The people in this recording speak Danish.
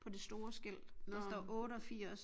På det store skilt der står 88